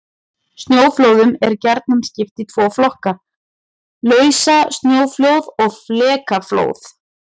Snjóflóðum er gjarnan skipt í tvo flokka: Lausasnjóflóð og flekaflóð.